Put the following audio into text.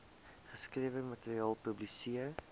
geskrewe materiaal publiseer